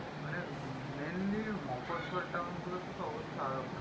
মানে um mainly মোকোর্সর town গুলোতে তো অবস্থা আরো খারাপ